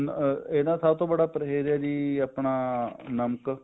ਇਹਦਾ ਸਭ ਤੋਂ ਬੜਾ ਪਰਹੇਜ ਹੈ ਕੀ ਆਪਣਾ ਨਮਕ